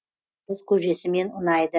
наурыз көжесімен ұнайды